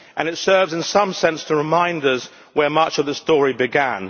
It serves in some sense to remind us where much of the story began.